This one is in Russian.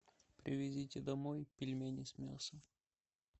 привезите домой пельмени с мясом